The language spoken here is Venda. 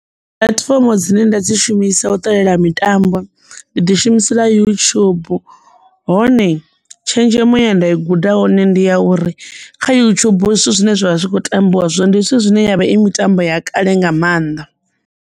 Puḽatifomo dzine nda dzi shumisa u ṱalela mitambo ndi ḓi shumisela yutshubu hone tshenzhemo ya nda i guda hone ndi ya uri kha yutshubu zwithu zwine zwavha zwi kho tambiwa zwo ndi zwithu zwine yavha i mitambo ya kale nga mannḓa.